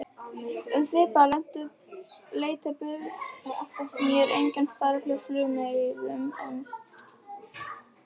Um svipað leyti bauðst mér einnig starf hjá Flugleiðum en